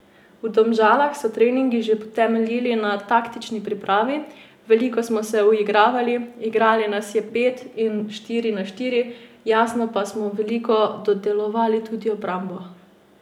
V Domžalah so treningi že temeljili na taktični pripravi, veliko smo se uigravali, igrali pet na pet in štiri na štiri, jasno pa smo veliko dodelovali tudi obrambo.